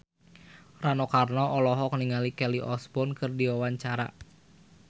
Rano Karno olohok ningali Kelly Osbourne keur diwawancara